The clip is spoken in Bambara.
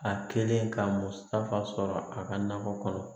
A kɛlen ka musaka sɔrɔ a ka nakɔ kɔnɔ